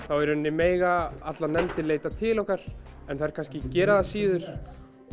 þá mega allar nefndir leita til okkar en þær kannski gera það síður